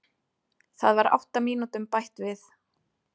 Það var átta mínútum bætt við